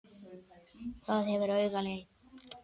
Það gefur auga leið